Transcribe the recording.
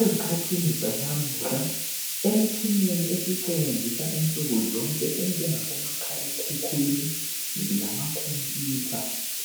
Ezikhathini zanamuhla emtshineni esiyisebenzisa insuku zonke enjenga bomakhala ekhukwini lamakhomputha